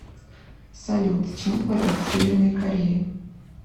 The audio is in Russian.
салют чем платить в северной корее